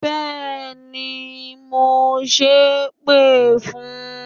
Béèni, mo ṣépè fún